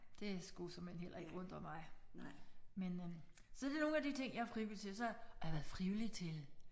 Det skulle såmænd heller ikke undre mig men øh så det er nogle af de ting jeg er frivillig til så og jeg har været frivillig til